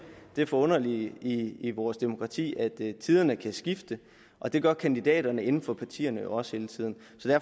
det forunderlige i i vores demokrati at tiderne kan skifte og det gør kandidaterne inden for partierne jo også hele tiden